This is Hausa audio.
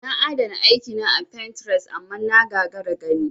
Na adana aiki na a pintres amma na gagara gani.